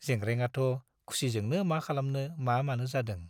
जेंग्रेंआथ' खुसिजोंनो मा खालामनो मा मानो जादों।